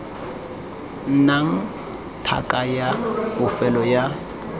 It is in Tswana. nnang tlhaka ya bofelo ya